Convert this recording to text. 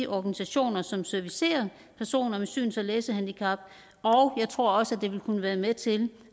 organisationer som servicerer personer med syns og læsehandicap og jeg tror også at det vil kunne være med til